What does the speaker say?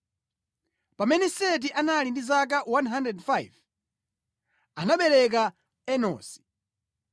Pamene Seti anali ndi zaka 105, anabereka Enosi.